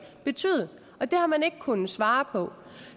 betyde det har man ikke kunnet svare på